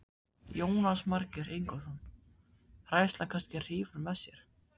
Jónas Margeir Ingólfsson: Hræðslan kannski hrífur með sér?